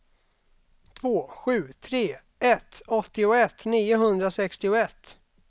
två sju tre ett åttioett niohundrasextioett